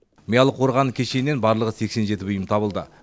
миялы қорғаны кешенінен барлығы сексен жеті бұйым табылды